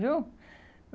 Viu?